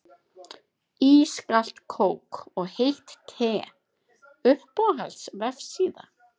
Ískalt kók og heitt te Uppáhalds vefsíða?